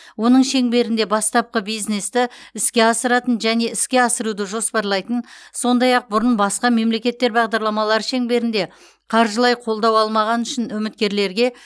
оның шеңберінде бастапқы бизнесті іске асыратын және іске асыруды жоспарлайтын сондай ақ бұрын басқа мемлекеттер бағдарламалары шеңберінде қаржылай қолдау алмағаны үшін үміткерлерге